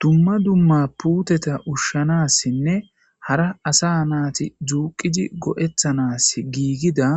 Dumma dumma puuteta ushshanassinne hara asa naati duuqqidi go'ettanaas giigida